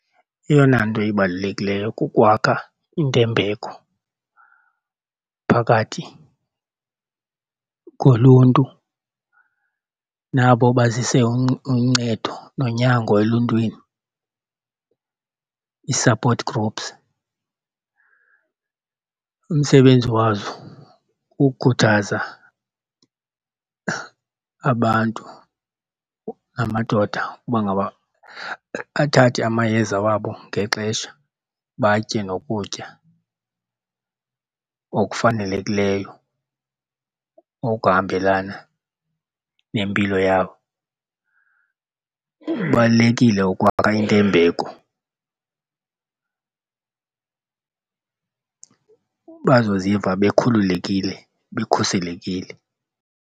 Eyona nto ibalulekileyo kukwakha intembeko phakathi koluntu nabo bazise uncedo nonyango eluntwini, ii-support groups. Umsebenzi wazo kukukhuthaza abantu, amadoda, uba ngaba athathe amayeza wabo ngexesha batye nokutya okufanelekileyo okuhambelana nempilo yabo. Kubalulekile ukwakha intembeko bazoziva bekhululekile, bekhuselekile.